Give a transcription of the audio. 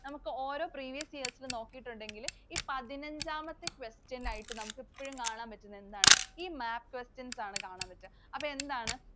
നമുക്ക് ഓരോ previous years ൽ നോക്കിയിട്ടുണ്ടെങ്കില് ഈ പതിനഞ്ചാമത്തെ question ൽ ആയിട്ട് നമുക്ക് എപ്പഴും കാണാൻ പറ്റുന്നത് എന്താണ്? ഈ map questions ആണ് കാണാൻ പറ്റുക. അപ്പൊ എന്താണ്